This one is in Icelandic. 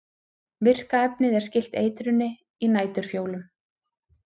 virka efnið er skylt eitrinu í næturfjólum